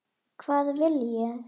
Hvað vil ég?